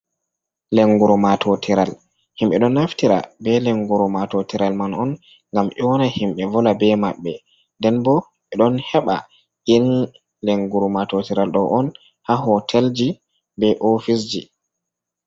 Lenguru matotiral, himɓe do naftira be lenguru matotiral man on, ngam nyona himɓe volda be maɓɓe, nden bo ɓe ɗon heɓa in lenguru matotiral ɗo on haa hotel ji, be ofis ji.